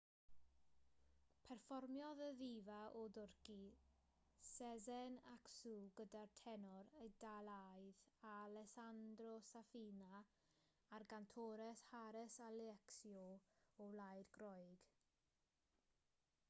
perfformiodd y ddifa o dwrci sezen aksu gyda'r tenor eidalaidd alessanndro safina a'r gantores haris alexiou o wlad groeg